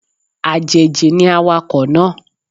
Àjèjì ni awakọ̀ náà